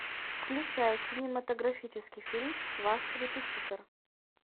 включай кинематографический фильм ваш репетитор